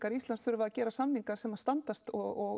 Íslands þurfa að gera samninga sem að standast og